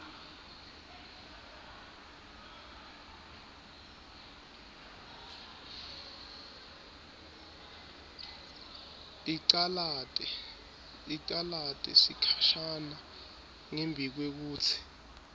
icalate sikhashana ngembikwekutsi